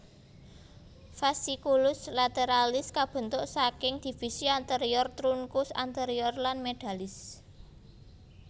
Fasciculus lateralis kabentuk saking divisi anterior trunkus anterior lan medalis